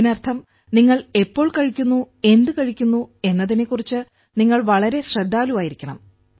ഇതിനർത്ഥം നിങ്ങൾ എപ്പോൾ കഴിക്കുന്നു എന്ത് കഴിക്കുന്നു എന്നതിനെക്കുറിച്ച് നിങ്ങൾ വളരെ ശ്രദ്ധാലുവായിരിക്കണം